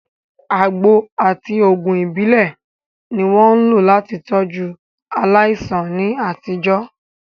Àgbo àti òògùn ìbílẹ̀ ni wọ́n ń lò láti tọ́jú aláìsàn ní àtijọ́.